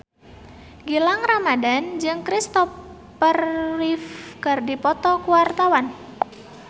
Gilang Ramadan jeung Christopher Reeve keur dipoto ku wartawan